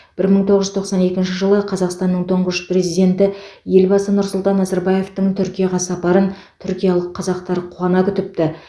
бір мың тоғыз жүз тоқсан екінші жылы қазақстанның тұңғыш президенті елбасы нұрсұлтан назарбаевтың түркияға сапарын түркиялық қазақтар қуана күтіпті